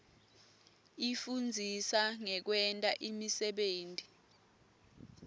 ifundzisa ngekwenta imisebenti